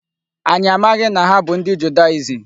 Anyị amaghị na ha bụ ndị Judaism.